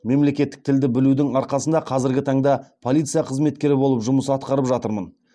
мемлекеттік тілді білудің арқасында қазіргі таңда полиция қызметкері болып жұмыс атқарып жатырмын